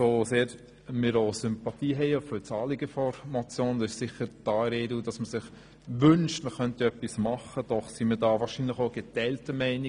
So sehr wir Sympathien für das Anliegen der Motion haben – man wünscht sich, man könnte etwas tun –, sind wir doch geteilter Meinung.